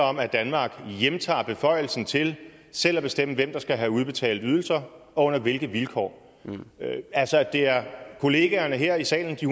om at danmark hjemtager beføjelsen til selv at bestemme hvem der skal have udbetalt ydelser og under hvilke vilkår altså det er kollegaerne her i salen de